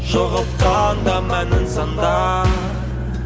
жоғалтқанда мәнін сандар